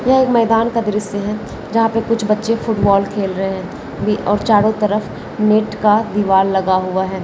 ये मैदान का दृश्य है जहां पे कुछ बच्चे फुटबॉल खेल रहे है ये और चारो तरफ नेट का दीवार लगा हुआ है।